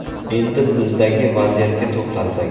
Endi bizdagi vaziyatga to‘xtalsak.